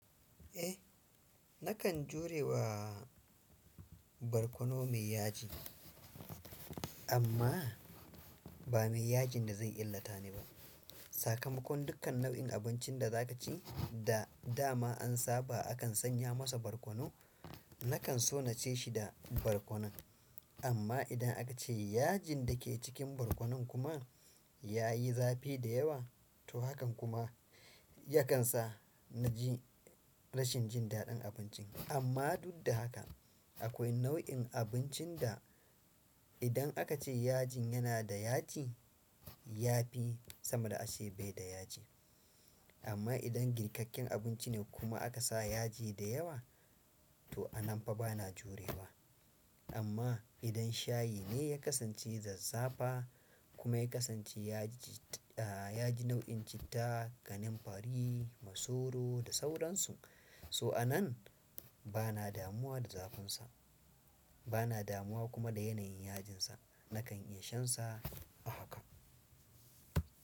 Eh, nakan jurewa barkono da yaji. Amma ba mai yajin da zai illata ni ba. Sakamakon dukkan nau'in abincin da za ka ci da dama an saba akan sanya masa barkono, nakan so na ci shi da barkono. Amma idan aka ce yajin da ke cikin barkonon kuma ya yi zafi dayawa to hakan kuma ya kan sa na ji rashin jin daɗin abincin. Amma duk da haka akwai nau'in abincin da idan aka ce yajin yana da yaji yafi sama da ace bai da yaji. Amma idan girkakken abinci ne kuma aka sa yaji da yawa, to a nan fa bana jurewa. Amma idan shayi ne ya kasance zazzafa kuma ya kasance yaji nau'in citta, gananfari, masoro da sauransu. To a nan bana damuwa da zafinsa bana damuwa kuma da yanayin yajinsa nakan in shan sa a haka.